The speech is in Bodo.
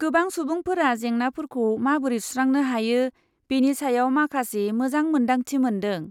गोबां सुबुंफोरा जेंनाफोरखौ माबोरै सुस्रांनो हायो बेनि सायाव माखासे मोजां मोनदांथि मोनदों।